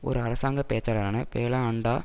ஒரு அரசாங்க பேச்சாளரான பேலா அன்டா